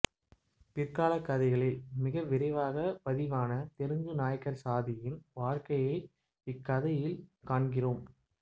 பிற்காலக் கதைகளில் மிக விரிவாக பதிவான தெலுங்கு நாயக்கர் சாதியின் வாழ்க்கையை இக்கதையில் காண்கிறோம்